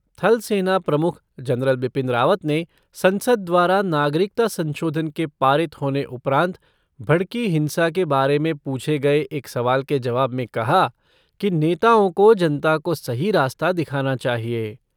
थल सेना प्रमुख जनरल बिपिन रावत ने संसद द्वारा नागरिकता संशोधन के पारित होने उपरान्त भड़की हिंसा के बारे पूछे गये एक सवाल के जवाब में कहा कि नेताओं को जनता को सही रास्ता दिखाना चाहिए।